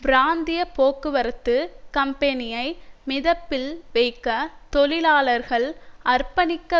பிராந்திய போக்குவரத்து கம்பெனியை மிதப்பில் வைக்க தொழிலாளர்கள் அர்ப்பணிக்க